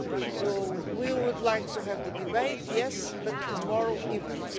So we would like to have the debate, yes but tomorrow evening.